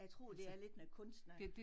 Jeg tror det er lidt noget kunst noget